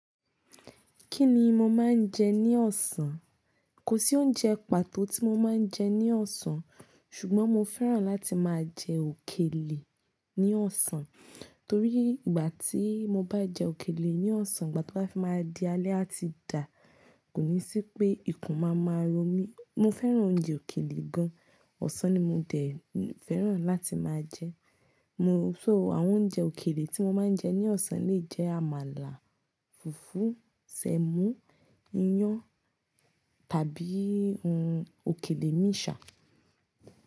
Kí ni mo máa ń jẹ ní ọ̀sán? Kò sí oúnjẹ pàtó tí mo máa ń jẹ ní ọ̀sán, ṣùgbọ́n mo fẹ́ràn láti máa jẹ òkèlè ní ọ̀sán torí ìgbà tí mo bá jẹ òkèlè ní ọ̀sán ìgbà tó bá fi máa di alẹ́ a ti dà, kò ní sí pé ikùn máa máa ro mí. Mo fẹ́ràn oúnjẹ òkèlè gan. Ọ̀sán ni mo tẹ̀ fẹ́ràn láti máa jẹ. Mo so àwọn oúnjẹ òkèlè tí mo máa ń jẹ ní ọ̀sán lè jẹ́ àmàlà, fùfú, sẹ̀mọ́, iyán tàbí òkèlè míì ṣà.